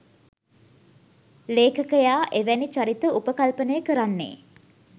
ලේඛකයා එවැනි චරිත උපකල්පනය කරන්නේ